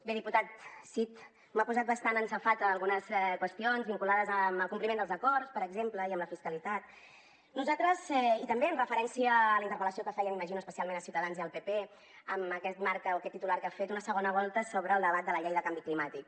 bé diputat cid m’ha posat bastant en safata algunes qüestions vinculades amb el compliment dels acords per exemple i amb la fiscalitat i també amb referència a la interpel·lació que feia m’imagino especialment a ciutadans i al pp amb aquest marc o aquest titular que ha fet una segona volta sobre el debat de la llei de canvi climàtic